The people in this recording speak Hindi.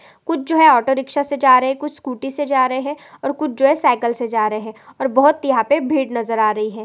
कुछ जो है ऑटो रिक्शा से जा रहे है कुछ स्कूटी जा रहे है और कुछ साइकिल से जा रहे है और बहुत यहाँ पे भीड़ नजर आ रही है।